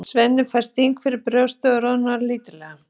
Svenni fær sting fyrir brjóstið og roðnar lítillega.